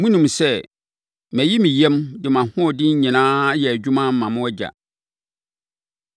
Monim sɛ, mayi me yam, de mʼahoɔden nyinaa ayɛ adwuma, ama mo agya;